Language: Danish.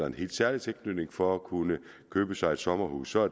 en helt særlig tilknytning for at kunne købe sig et sommerhus så